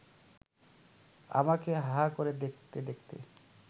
আমাকে হাঁ করে দেখতে দেখতে